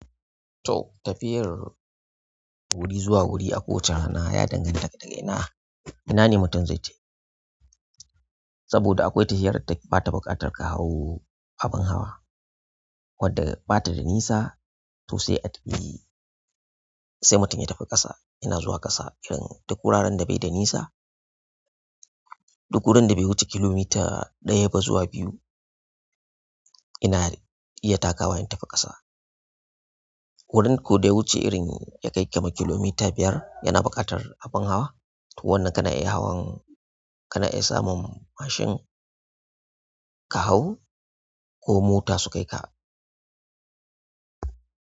To tafiyar wuri zuwa wuri a ƙowache na ya danganta da ga ina, -ina ne mutum zai je. Saboda akwai tahiyar da bata buƙatar ka hau abin hawa, wadda bata da nisa to sai a tafi, sai mutum ya tafi ƙasa. Ina zuwa ƙasa irin duk wuraren da bai da nisa, duk wurin da bai wuce kilomita ɗaya ba zuwa biyu. Ina iya takawa in tafi ƙasa. Wurin ko dai wuce irin ya kai kamak kilomita biyar yana buƙatar abin hawa. To wannan kana iya hawan, kana iya samun mashin ka hau ko mota su kai ka.